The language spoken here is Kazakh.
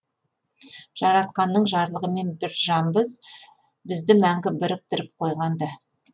жаратқанның жарлығымен бір жанбыз бізді мәңгі біріктіріп қойған да